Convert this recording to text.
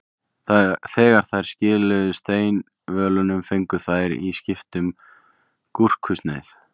Þegar þær skiluðu steinvölunum fengu þær í skiptum gúrkusneið.